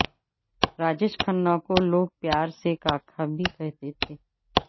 راجیش کھنہ کو لوگ پیار سے کاکا بھی کہتے تھے